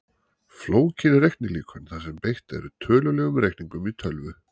Flókin reiknilíkön þar sem beitt er tölulegum reikningum í tölvu.